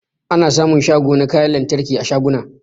Ana sa mun shago na kayan lantarki a shaguna